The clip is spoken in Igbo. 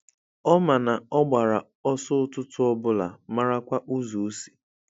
Ọ ma na ọ gbara ọsọ ụtụtụ Obụla marakwa ụzọ osi.